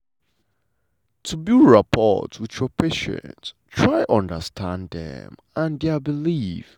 to build rapport wit your patient try understand dem and dia belief.